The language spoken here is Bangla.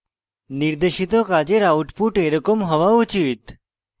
নির্দেশিত কাজের output এরকম হওয়া উচিত